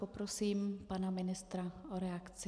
Poprosím pana ministra o reakci.